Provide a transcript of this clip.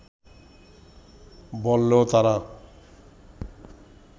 বললেও তারা